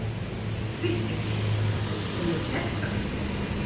Kristín: Sem eru þessar?